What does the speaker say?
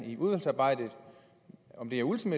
ole birk olesen